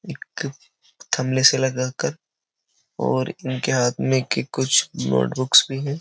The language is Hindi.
एक थमले से लगाकर और इनके हाथ में के कुछ नोटबुक्स भी हैं।